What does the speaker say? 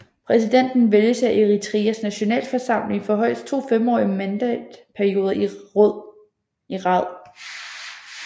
Præsidenten vælges af Eritreas nationalforsamling for højst to femårige mandatperioder i rad